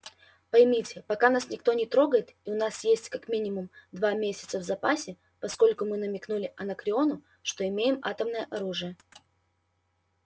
поймите пока нас никто не трогает и у нас есть как минимум два месяца в запасе поскольку мы намекнули анакреону что имеем атомное оружие